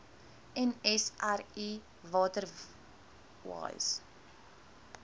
nsri water wise